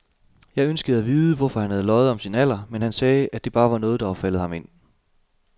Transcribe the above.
Jeg ønskede at vide, hvorfor han havde løjet om sin alder, men han sagde, at det bare var noget, der var faldet ham ind.